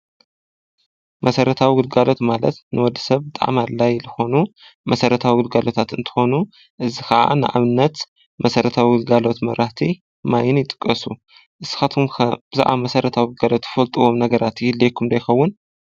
መስረታዊ ግልጋሎት ማለት ንወዲ ሰብ ብጣዕሚ ኣድላይ ዝኾኑ መሰረታው ጕልጋሎታት እንተኾኑ፣ እዝ ኸዓ ንኣብነት መስረታዊ ጕልጋሎት መብራህቲ፣ ማይን ይጥቀሱ። እስኻትኩም ብዛዕባ መስረታዊ ግልጋሎት ትፈልጥዎም ነገራቲ ይህልዎኩም ዶ ይኸውን?